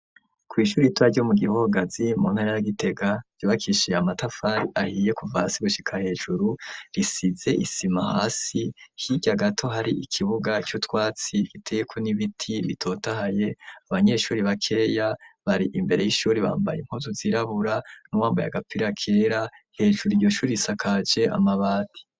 Kw'ishuri ritoya ryo mu Gihogazi mu ntara ya Gitega, ryubakishije amatafari ahiye kuva hasi gushika hejuru, risize isima hasi, hirya gato hari ikibuga c'utwatsi giteyeko n'ibiti bitotahaye, abanyeshuri bakeya bari imbere y'ishuri bambaye impuzu zirabura n'uwambaye agapira kera, hejuru iryo shuri risakaje amabati.